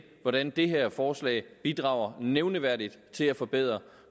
hvordan det her forslag bidrager nævneværdigt til at forbedre